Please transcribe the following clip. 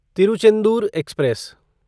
Tiruchendur express